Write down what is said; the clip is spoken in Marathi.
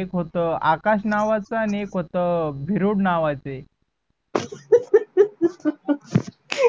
एक होता आकाश नावाचा आनी एक नावाचे